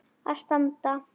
að standa.